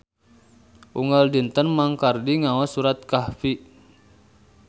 Unggal dinten Mang Kardi ngaos surat Kahfi